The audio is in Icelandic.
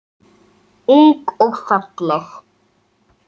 Ung og falleg.